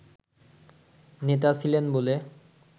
নেতা ছিলেন বলে